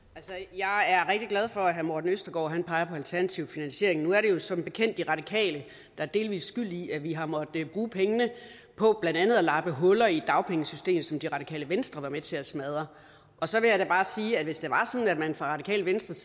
jeg er rigtig glad for at herre morten østergaard peger på alternativ finansiering nu er det jo som bekendt de radikale der er delvis skyld i at vi har måttet bruge pengene på blandt andet at lappe huller i dagpengesystemet som det radikale venstre har været med til at smadre så vil jeg da bare sige at hvis det var sådan at man fra radikale venstres